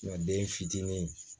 den fitinin